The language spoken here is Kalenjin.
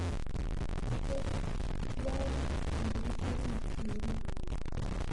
Tos tyaan rabiisyeekaab siriik?